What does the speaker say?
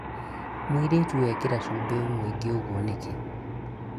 mũirĩtu wekĩra cubĩ mũingĩ ũguo nĩkĩ?